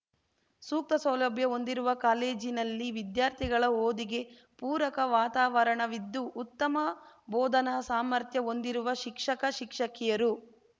ಸೂಕ್ತ ಸೌಲಭ್ಯ ಹೊಂದಿರುವ ಕಾಲೇಜಿನಲ್ಲಿ ವಿದ್ಯಾರ್ಥಿಗಳ ಓದಿಗೆ ಪೂರಕ ವಾತಾವರಣವಿದ್ದು ಉತ್ತಮ ಬೋಧನಾ ಸಾಮರ್ಥ್ಯ ಹೊಂದಿರುವ ಶಿಕ್ಷಕಶಿಕ್ಷಕಿಯರು